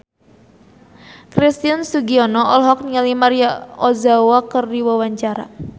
Christian Sugiono olohok ningali Maria Ozawa keur diwawancara